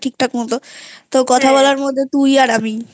ঠিক ঠাক মতো তো কথা বলার মতো তুই আর আমি